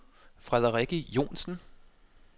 Frederikke Johnsen